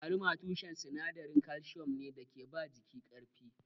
Agwaluma tushen sinadarin kalsiyom ne da ke ba jiki ƙarfi.